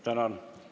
Tänan!